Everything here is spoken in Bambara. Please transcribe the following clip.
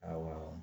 Awa